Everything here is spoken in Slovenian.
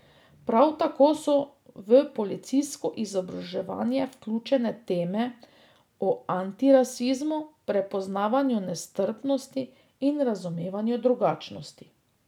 Prav tako so v policijsko izobraževanje vključene teme o antirasizmu, prepoznavanju nestrpnosti in razumevanju drugačnosti.